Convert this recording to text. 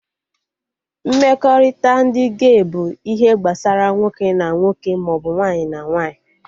Mmekọrịta ndị gey bụ ihe gbasara nwoke na nwoke maọbụ nwaanyị na nwaanyị